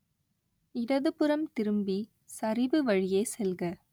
இடதுபுறம் திரும்பி சரிவு வழியே செல்க